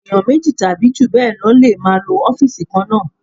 Èèyàn méjì tàbí jù bẹ́ẹ̀ lọ lè máa lo ọ́fìsì kan náà